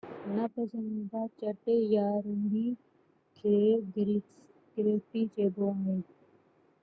ناپسنديده چٽ يا رهڙي کي گريفٽي چئبو آهي